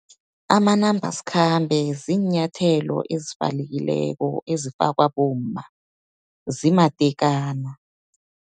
Amanambasikhambe, ziinyathelo ezivalekileko, ezifakwa bomma, zimatekana.